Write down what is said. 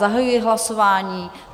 Zahajuji hlasování.